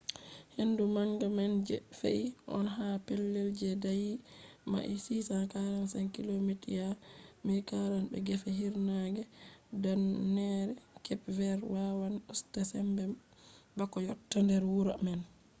hendu manga man je fe’i on ha pellel je daayi mails 645 kilomita 1040 be gefe hiirnaange danneere kep verd wawan usta sembe bako yotta nder wuro man